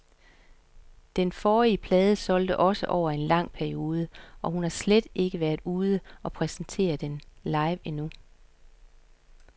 Den forrige plade solgte også over en lang periode, og hun har slet ikke været ude og præsentere den live endnu.